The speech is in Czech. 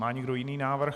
Má někdo jiný návrh?